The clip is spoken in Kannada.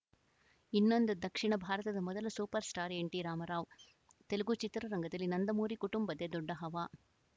ಇನ್ನೊಂದು ದಕ್ಷಿಣ ಭಾರತದ ಮೊದಲ super star N T Rama Rao Telugu ಚಿತ್ರರಂಗದಲ್ಲಿ ನಂದಮೂರಿ ಕುಟುಂಬದ್ದೇ ದೊಡ್ಡ ಹವಾ